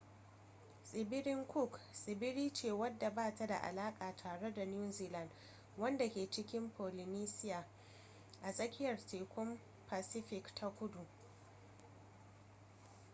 tsibirin cook tsibiri ce wanda ba ta da alaka tare da new zealand wanda ke cikin polynesia a tsakiyar tekun pacific ta kudu